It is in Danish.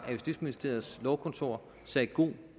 at justitsministeriets lovkontor sagde god